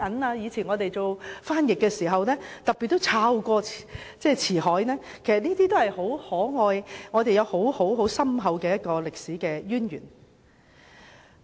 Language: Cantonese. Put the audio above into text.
我以前從事翻譯時也特別翻閱《辭海》，發現很多表達法其實很可愛，亦有深厚的歷史淵源。